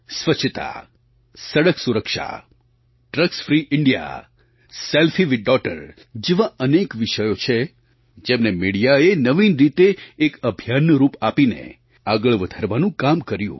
સ્વચ્છતા સડક સુરક્ષા drugs free India selfie with daughter જેવા અનેક વિષયો છે જેમને મિડિયાએ નવીન રીતે એક અભિયાનનું રૂપ આપીને આગળ વધારવાનું કામ કર્યું